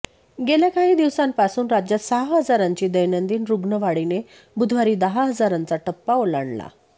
गेल्या काही दिवसांपासून राज्यात सहा हजारांची दैनंदिन रुग्ण वाढीने बुधवारी दहा हजारांचा टप्पा ओलांडला